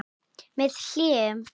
Með hléum.